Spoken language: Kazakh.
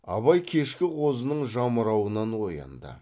абай кешкі қозының жамырауынан оянды